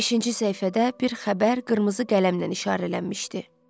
Beşinci səhifədə bir xəbər qırmızı qələmlə işarələnmişdi.